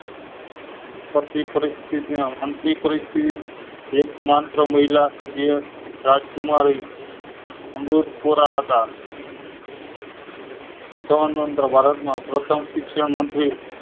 મંત્રી પરિસ્થિતિ ના અંતિમ પરિસ્થિતિ વ્યક્ત માત્ર મહિલા સભ્ય રાજકુમારી અમૃત કોરા હતા સૌપ્રથમ ભારત માં પ્રથમ શિક્ષણ મંત્રી